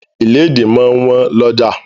Ìlédìí máa wọ́n lọ́ja.